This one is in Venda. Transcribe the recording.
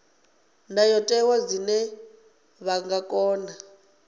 ndayotewa zwine vha nga kona